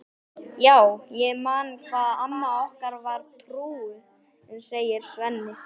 Já, ég man hvað amma okkar var trúuð, segir Svenni.